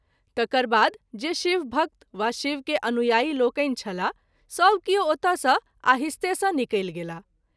तकर बाद जे शिव भक्त वा शिव के अनुआयी लोकनि छलाह सभ किओ ओतए सँ आहिस्ते सँ निकलि गेलाह।